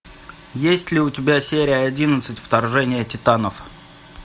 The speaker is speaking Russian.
есть ли у тебя серия одиннадцать вторжение титанов